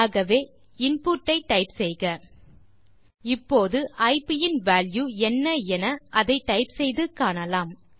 ஆகவே input type செய்க இப்போது ஐப் இன் வால்யூ என்ன என அதை டைப் செய்து காணலாம்